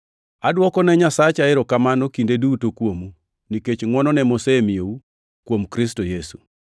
Adwokone Nyasacha erokamano kinde duto kuomu, nikech ngʼwonone mosemiyou kuom Kristo Yesu.